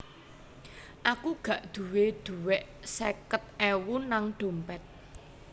Aku gak duwe duwek seket ewu nang dompet